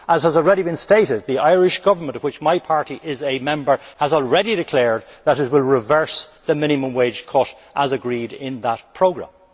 As has already been stated, the Irish Government, of which my party is a member, has already declared that it will reverse the minimum wage cut as agreed in that programme.